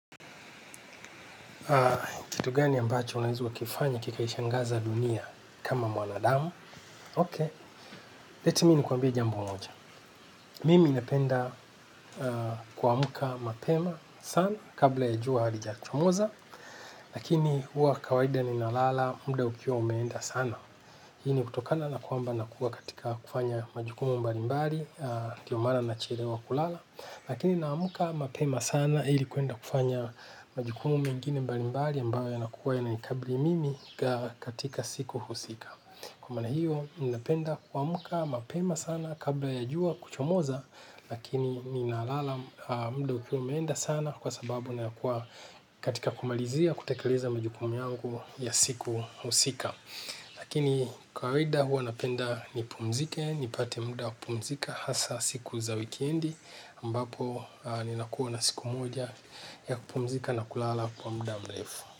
Kitu gani ambacho unaeza wa kifanya kikaishangaza dunia kama mwanadamu Ok, let me ni kuambia jambo moja. Mimi napenda kuamuka mapema sana kabla ya jua halijachomoza. Lakini hua kawaida ni nalala mda ukiwa umeenda sana. Hini kutokana na kuamba nakua katika kufanya majukumu mbalimbari. Ndio maana nachelewa kulala. Lakini naamka mapema sana ili kwenda kufanya majukumu mengine mbalimbali ambayo yanakuwa yananikabli mimi katika siku husika. Kwa maana hiyo ninapenda kuamka mapema sana. Kabla ya jua kuchomoza. Lakini ninalala mudo ukiwa umeenda sana. Kwa sababu nakuwa katika kumalizia kutakeleza majukumu yangu ya siku husika. Lakini kawaida huwa napenda nipumzike nipate muda kupumzika hasa siku za wikiendi ambapo ninakuwa na siku moja ya kupumzika na kulala kwa muda mrefu.